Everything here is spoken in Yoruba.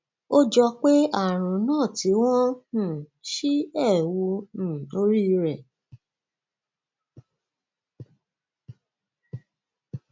ó jọ pé àrùn náà ti wọn um sí ẹwù um orí rẹ